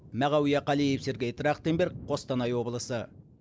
мағауия қалиев сергей трахтенберг қостанай облысы